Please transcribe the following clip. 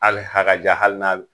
Ali hakaja hali n'a be